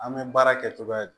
An bɛ baara kɛ cogoya di